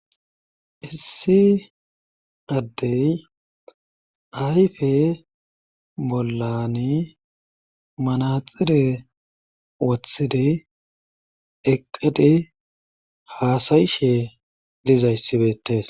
Issi adde ayfe bollan manaxire wotidi hassayshe dizayssi beetees.